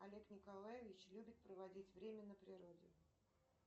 олег николаевич любит проводить время на природе